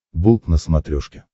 болт на смотрешке